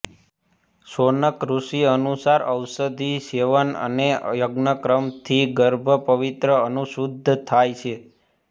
શૌનક ઋષિ અનુસાર ઔષધિસેવન અને યજ્ઞકર્મથી ગર્ભ પ્રવિત્ર અનુશુદ્ધ થાય છે